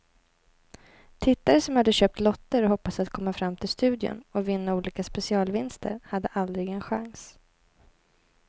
Tittare som hade köpt lotter och hoppats att komma fram till studion och vinna olika specialvinster hade aldrig en chans.